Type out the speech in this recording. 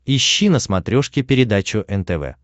ищи на смотрешке передачу нтв